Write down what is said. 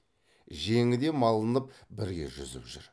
жеңі де малынып бірге жүзіп жүр